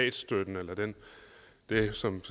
jeg som